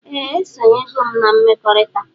Ee esonyego m na mmekọrita.